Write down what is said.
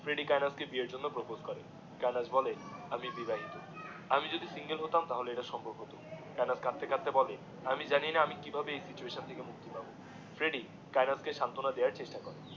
Freddie Kainat কে বিয়ের জন্যে প্রপোস করে কায়েনাথ বলে আমি বিবাহিত আমি যদি সিঙ্গেল হতাম তাহে এটা সম্ভব হতো কায়েনাথ কাঁদতে কাঁদতে বলে আমি জানিনা আমি কি ভাবে এই সিচুয়েশন থেকে মুক্তি পাবো ফ্রেডি কায়েনাথ কে সান্তনা দেয়ার চেষ্টা করে